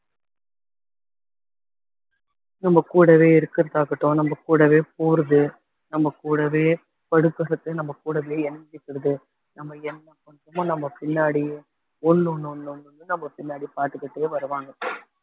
நம்ம கூடவே இருக்கிறதா இருக்கட்டும் நம்ம கூடவே போறது நம்ம கூடவே படுக்கறது நம்ம கூடவே இணைஞ்சிக்கிறது நம்ம எங்க போனாலும் நம்ம பின்னாடி லொள் லொள் லொள்ன்னு நம்ம பின்னாடி பாத்துக்கிட்டே வருவாங்க